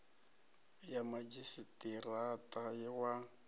ya madzhisi ṱira ṱa wa